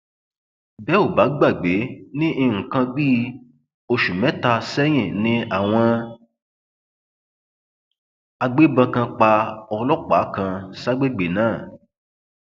bẹ ò bá gbàgbé ní nǹkan bíi oṣù mẹta sẹyìn ni àwọn agbébọn kan pa ọlọpàá kan ságbègbè náà